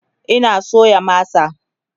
Ina soya masa